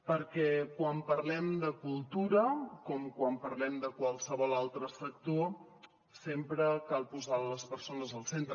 perquè quan parlem de cultura com quan parlem de qualsevol altre sector sempre cal posar les persones al centre